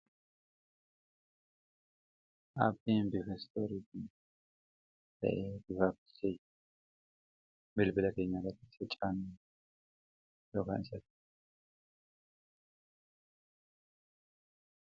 abbeen bifestooriiti ta'en bifaabtiseye bilbila keenya gatiisa caannuu yokaan isata